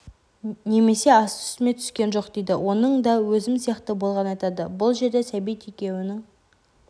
немесе асты-үстіме түскен жоқ дейді оның да өзім сияқты болғанын айтады бұл жерде сәбит екеуінің